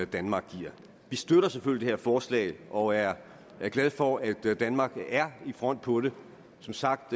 danmark giver vi støtter selvfølgelig det her forslag og jeg er glad for at danmark er i front på det som sagt